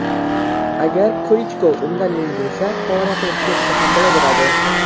Agar Klichko undan yengilsa, faoliyatini tugatsa ham bo‘laveradi.